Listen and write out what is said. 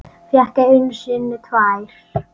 Fékk einu sinni tvær.